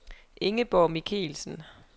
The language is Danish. Ingeborg Michelsen